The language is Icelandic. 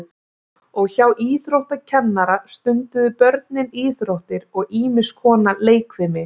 Og hjá íþróttakennara stunduðu börnin íþróttir og ýmis konar leikfimi.